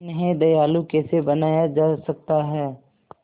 उन्हें दयालु कैसे बनाया जा सकता है